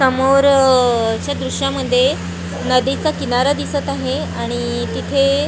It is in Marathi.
समोरच्या दृश्यामध्ये नदीचा किनारा दिसतं आहे आणि तिथे--